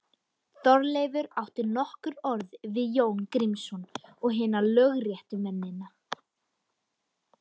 Þorleifur átti nokkur orð við Jón Grímsson og hina lögréttumennina.